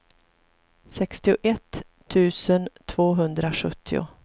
sextioett tusen tvåhundrasjuttio